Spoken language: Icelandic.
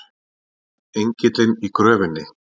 ENGILLINN Í GRÖFINNI.